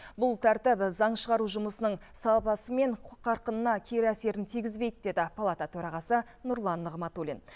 бұл тәртіп заң шығару жұмысының сапасы мен қарқынына кері әсерін тигізбейді деді палата төрағасы нұрлан нығматулин